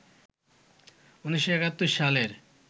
১৯৭১ সালের